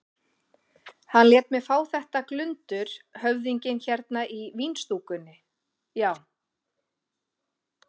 Hann lét mig fá þetta glundur höfðinginn hérna í vínstúkunni, já.